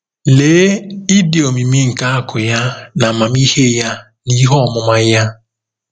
“Lee ịdị omimi nke akụ̀ ya na amamihe ya na ihe ọmụma ya!